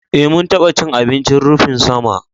Eh, mun taɓa cin abincin rufin sama